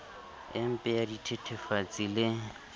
e mpe ya dithethefatsi le